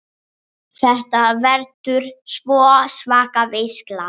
Þetta verður sko svaka veisla.